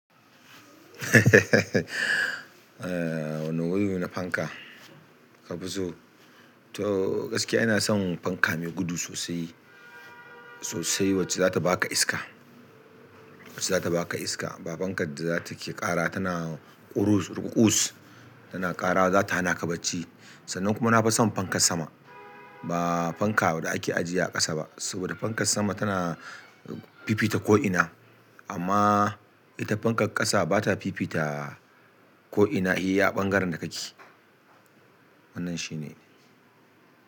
Wani gudu na fanka ka fi so? To gaskiya ina son fanka mai gudu sosai. Sosai wacce zata baka iska, wacce zata baka iska ba fankan da za ta ke ƙara tana ƙurus, rukuƙus tana ƙara za ta hana ka bacci. Sannan kuma na fi son fankan sama, ba fanka da ake ajiye a ƙasa ba. Saboda fankan sama tana fifita ko'ina, amma ita fankan ƙasa bata fifita ko'ina, iya a ɓangaren da ka ke. Wannan shi ne.